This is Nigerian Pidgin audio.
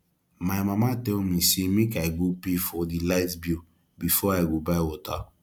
my mama tell me say make i go pay for the light bill before i go buy water